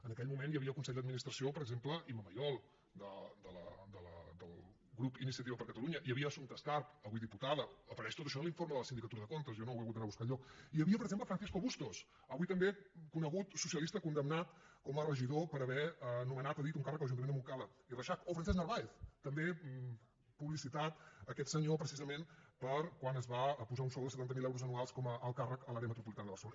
en aquell moment hi havia al consell d’administració per exemple imma mayol del grup iniciativa per catalunya hi havia assumpta escarp avui diputada apareix tot això en l’informe de la sindicatura de comptes jo no ho he hagut d’anar a buscar enlloc hi havia per exemple francisco bustos avui també conegut socialista condemnat com a regidor per haver nomenat a dit un càrrec a l’ajuntament de montcada i reixach o francesc narváez també publicitat aquest senyor precisament per quan es va posar un sou de setanta mil euros anuals com a alt càrrec a l’àrea metropolitana de barcelona